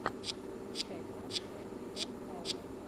включай пранк эс эм тауна